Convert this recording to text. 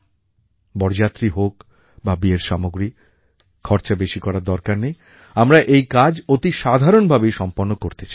বরযাত্রী হোক বা বিয়ের সামগ্রী খরচা বেশি করার দরকার নেই আমরা এই কাজ অতি সাধারণভাবেই সম্পন্ন করতে চাই